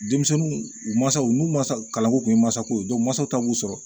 Denmisɛnninw u mansaw n'u ma kalanko tun ye masako ye mansaw ta b'u sɔrɔ